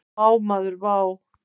Vá maður vá!